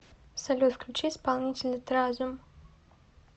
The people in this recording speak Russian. салют включи исполнителя тразом